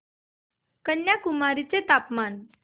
कन्याकुमारी चे तापमान